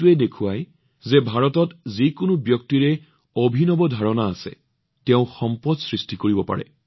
ই প্ৰতিফলিত কৰে যে ভাৰতত যি ব্যক্তিৰ অভিনৱ ধাৰণা তাকে তেওঁ সম্পদ সৃষ্টিও কৰিব পাৰে